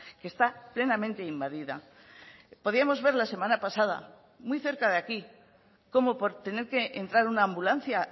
que está plenamente invadida podíamos ver la semana pasada muy cerca de aquí cómo por tener que entrar una ambulancia